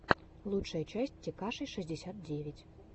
лучшая часть текаши шестьдесят девять